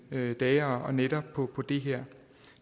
dage og nætter på det her